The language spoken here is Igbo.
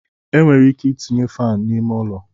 E nwere ike itinye faanụ n'ime ụlọ.